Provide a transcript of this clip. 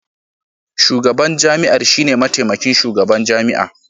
Shugaban jami'ar shine mataimakin shugaban jami'a